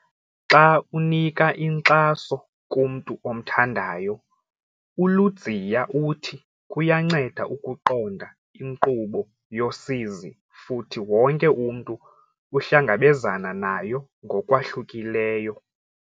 Xa unika inkxaso kumntu omthandayo, uLudziya uthi kuyanceda ukuqonda inkqubo yosizi futhi wonke umntu uhlangabezana nayo ngokwahlukileyo.